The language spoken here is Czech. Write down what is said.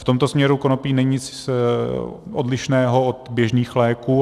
V tomto směru konopí není nic odlišného od běžných léků.